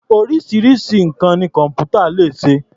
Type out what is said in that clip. Oríṣiríṣi nǹkan ni kọ̀m̀pútà lè ṣe.